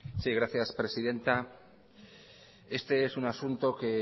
sí gracias presidenta este es un asunto que